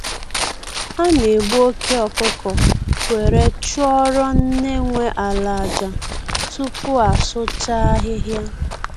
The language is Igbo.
A na egbu oke ọkụkọ were chụọrọ nne nwe ala aja, tupu asụcha ahịhịa